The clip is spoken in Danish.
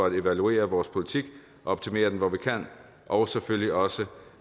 at evaluere vores politik og optimere den hvor vi kan og selvfølgelig også